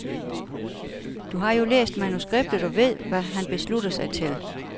Du har jo læst manuskriptet og ved, hvad han beslutter sig til.